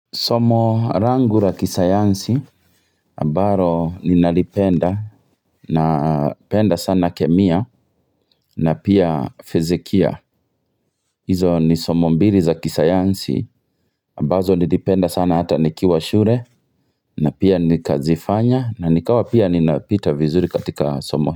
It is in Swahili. Somo rangu la kisayansi ambaro ninalipenda napenda sana kemia na pia fizikia hizo ni somo mbili za kisayansi ambazo nilipenda sana hata nikiwa shure na pia nikazifanya na nikawa pia ninapita vizuri katika masomo.